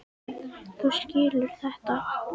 Þú skilur þetta?